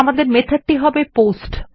আমাদের মেথড টি হবে পোস্ট